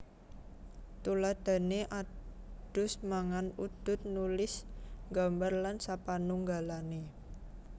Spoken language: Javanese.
Tuladhané adus mangan udud nulis nggambar lan sapanunggalané